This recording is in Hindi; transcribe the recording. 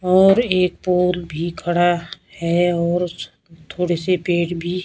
और एक पोल भी खड़ा है और उस थोड़े से पेड़ भी--